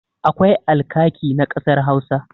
Akwai alkaki na ƙasar Hausa.